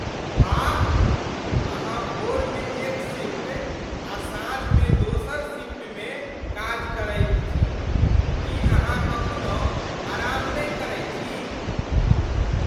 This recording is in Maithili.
वाह! अहाँ भोरमे एक शिफ्ट आ साँझमे दोसर शिफ्टमे काज करैत छी! की अहाँ कखनौ आराम नहि करै छी?